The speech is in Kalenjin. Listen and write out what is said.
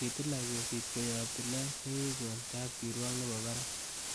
Kitilak kesit koyob tilet nekikon kapkirwok nebo barak.